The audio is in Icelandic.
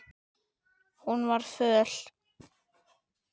Hún var föl.